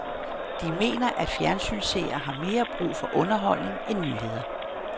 De mener, at fjernsynsseere har mere brug for underholdning end nyheder.